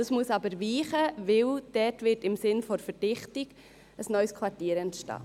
Dieses muss aber weichen, denn dort wird im Sinne der Verdichtung ein neues Quartier entstehen.